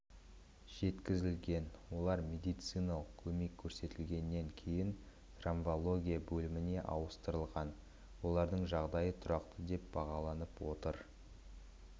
жеткізілген олар медициналық көмек көрсетілгеннен кейін травматология бөліміне ауыстырылған олардың жағдайы тұрақты деп бағаланып отыр